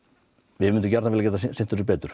við myndum gjarnan getað sinnt þessu betur